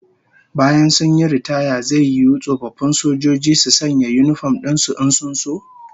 After retirement, will it be an offence for armed forces members to wear uniforms whenever they wish?